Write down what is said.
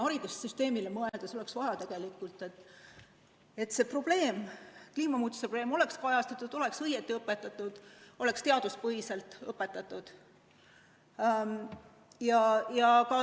Haridussüsteemile mõeldes oleks vaja tegelikult, et see probleem, kliimamuutuse teema oleks kajastatud, oleks õigesti õpetatud, oleks teaduspõhiselt õpetatud.